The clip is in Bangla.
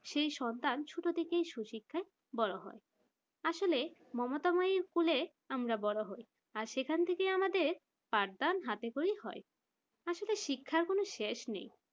সেই সন্তান ছোট থেকেই সুশিক্ষায় বড় হয় আসলে মমতা মইর কুলে আমরা সকলে বড় হই আর সেখান থেকেই আমাদের ফারদান হাতে খড়ি হয় আর সেটা শিক্ষার কোন শেষ নেই